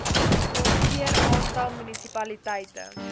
moniteer aantal munisipaliteite